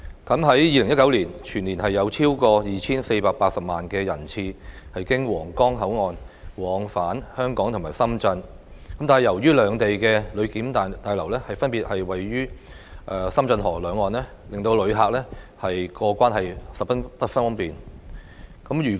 在2019年，全年有超過 2,480 萬人次經皇崗口岸往返香港和深圳，但由於兩地的旅檢大樓分別位於深圳河的兩岸，令旅客過關十分不便。